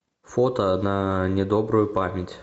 фото на недобрую память